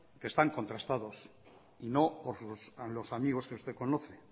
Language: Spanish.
que están contrastados y no por los amigos que usted conoce